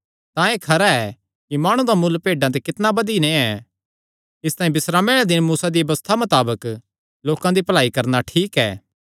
तां एह़ खरा ऐ कि माणु दा मुल्ल भेड्डां ते कितणा बधी नैं ऐ इसतांई बिस्रामे आल़े दिने मूसा दिया व्यबस्था मताबक लोकां दी भलाई करणा ठीक ऐ